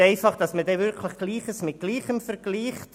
Nur, damit man Gleiches mit Gleichem vergleicht: